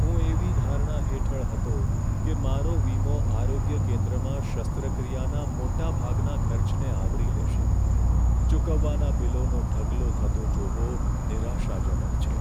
હું એવી ધારણા હેઠળ હતો કે મારો વીમો આરોગ્ય કેન્દ્રમાં શસ્ત્રક્રિયાના મોટા ભાગના ખર્ચને આવરી લેશે. ચૂકવવાના બિલોનો ઢગલો થતો જોવો નિરાશાજનક છે.